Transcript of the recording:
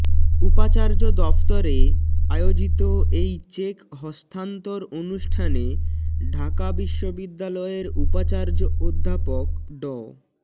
উপাচার্য দফতরে আয়োজিত এই চেক হস্তান্তর অনুষ্ঠানে ঢাকা বিশ্ববিদ্যালয়ের উপাচার্য অধ্যাপক ড